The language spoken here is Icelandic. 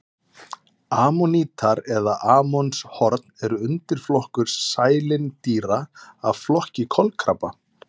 Ammonítar eða ammonshorn er undirflokkur sælindýra af flokki kolkrabba.